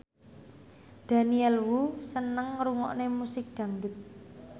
Daniel Wu seneng ngrungokne musik dangdut